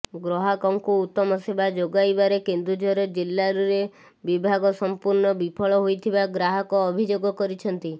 ଗ୍ରହାକଙ୍କୁ ଉତ୍ତମ ସେବା ଯୋଗାଇବାରେ କେନ୍ଦୁଝର ଜିଲା୍ଲରେ ବିଭାଗ ସଂପୂର୍ଣ୍ଣ ବିଫଳ ହେଉଥିବା ଗ୍ରାହକ ଅଭିଯୋଗ କରିଛନ୍ତି